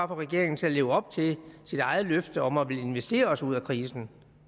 regeringen til at leve op til sit eget løfte om at ville investere sig ud af krisen